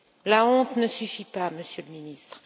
La honte ne suffit pas, Monsieur le Ministre.